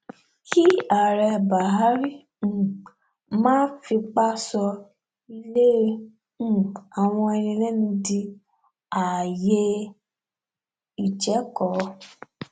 kí ààrẹ bahari um má fipá sọ ilé um àwọn ẹni ẹlẹni di ààyè ìjẹko